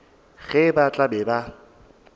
ge ba tla be ba